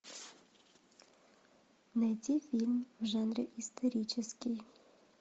найти фильм в жанре исторический